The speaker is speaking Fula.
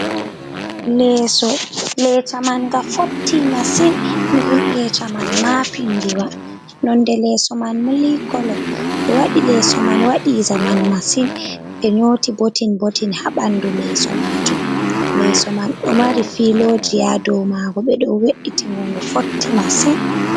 Leeso! Leesa man nga fotti masin. Nden leesa man maapindiwa, nonde leeso man milikolo. Ɓe waɗi leeso man waɗi zaman masin. Ɓe nyooti botin-botin haa ɓandu leeso maajum. Leeso man ɗo mari filooji haa dow maago. Ɓe ɗo we'itingo, ngo fotti masin.